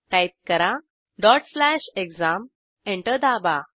type करा exam enter दाबा